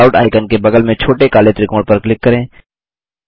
callout icon के बगल में छोटे काले त्रिकोण पर क्लिक करें